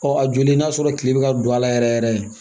Ɔ a joli n'a sɔrɔ tile bɛ ka don a la yɛrɛ yɛrɛ